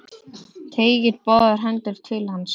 Teygir báðar hendur til hans.